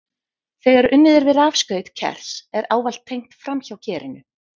Þegar unnið er við rafskaut kers er ávallt tengt framhjá kerinu.